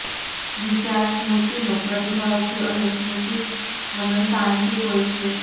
વિચાર સ્મૃતિનો પ્રતિભાવ છે અને સ્મૃતિ હંમેશાં આંશિક હોય છે